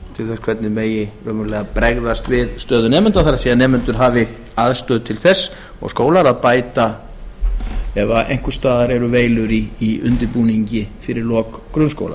til þess hvernig megi raunverulega bregðast við stöðu nemenda það er að nemendur hafi aðstöðu til þess og skólar að bæta ef einhvers staðar eru veilur í undirbúningi fyrir lok grunnskóla